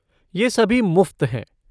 ये सभी मुफ़्त है।